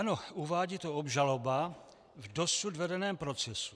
Ano, uvádí to obžaloba v dosud vedeném procesu.